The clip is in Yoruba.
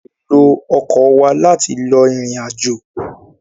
À lé ló ọkọ̀ wa láti lọ ìrìnàjò